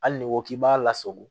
Hali n'i ko k'i b'a lasago